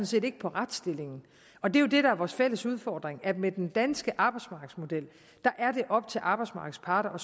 set ikke på retsstillingen og det der er vores fælles udfordring er med den danske arbejdsmarkedsmodel er det op til arbejdsmarkedets parter